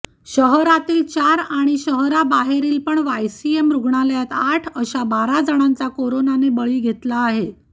शहरातील चार आणि शहराबाहेरील पण वायसीएम रुग्णालयात आठ अशा बारा जणांचा कोरोनाने बळी घेतला आहे